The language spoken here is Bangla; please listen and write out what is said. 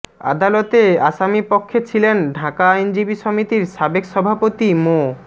আদালতে আসামিপক্ষে ছিলেন ঢাকা আইনজীবী সমিতির সাবেক সভাপতি মো